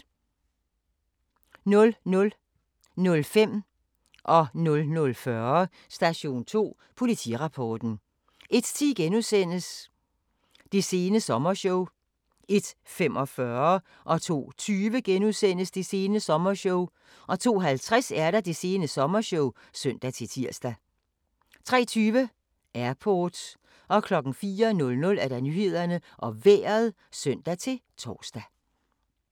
00:05: Station 2: Politirapporten 00:40: Station 2: Politirapporten 01:10: Det sene sommershow * 01:45: Det sene sommershow * 02:20: Det sene sommershow * 02:50: Det sene sommershow (søn-tir) 03:20: Airport 04:00: Nyhederne og Vejret (søn-tor)